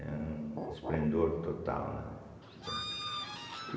É um esplendor total, né, entende.